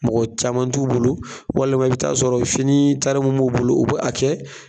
Mɔgɔ caman t'u bolo, walima i bɛ t'a sɔrɔ fini taari mun b'u bolo o bɛ a kɛ.